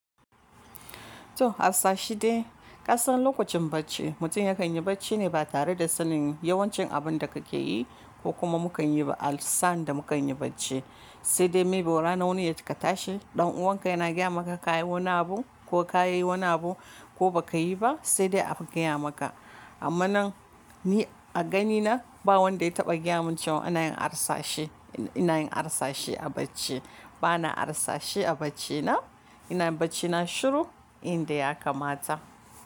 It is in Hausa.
To harsashi de kasan lokacin bacci mutum ya kan yi bacci ne ba tare da sanin yawancin abun da ka ke yi ko kuma mu kanyi ba asan da mu ka yi bacci. Sai dai maybe rana wani ya ka tashi ɗan'uwanka yana gaya maka ka yi wani abu ko ka yi wani abu ko ba ka yi ba sai dai aka gaya maka. Amma nan ni a gani na ba wanda ya taɓa gaya min cewa ina yin harsashi, ina yin harsashi a bacci. Ba na harsashi a bacci na, ina yin bacci na shiru inda ya kamata.